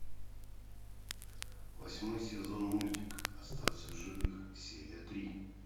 восьмой сезон мультик остаться в живых серия три